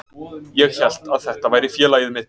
Ég hélt að þetta væri félagið mitt.